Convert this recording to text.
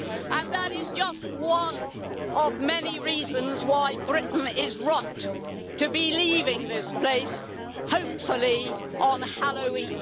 And that is just one of many reasons why Britain is right to be leaving this place, hopefully at Halloween.